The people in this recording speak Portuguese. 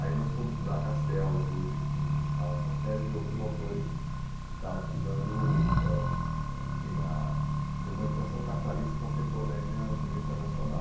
Aí nós fomos estudar Castells, Logichini e tal, uma série de outros autores que estavam estudando o assim a urbanização capitalista contemporânea em nível internacional.